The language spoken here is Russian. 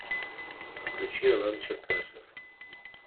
включи алан черкасов